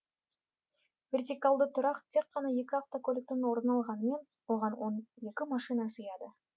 вертикалды тұрақ тек қана екі автокөліктің орнын алғанымен оған он екі машина сыяды